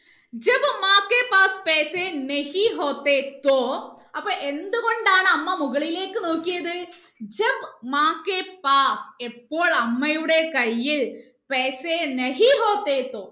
അപ്പൊ എന്ത് കൊണ്ടാണ് അമ്മ മുകളിലേക്ക് നോക്കിയത് ഇപ്പോൾ അമ്മയുടെ കൈയിൽ